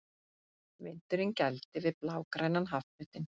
Vindurinn gældi við blágrænan hafflötinn.